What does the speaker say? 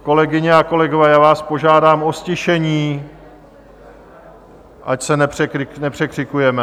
Kolegyně a kolegové, já vás požádám o ztišení, ať se nepřekřikujeme.